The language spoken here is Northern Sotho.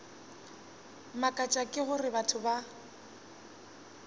mmakatša ke gore batho ba